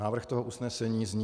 Návrh toho usnesení zní: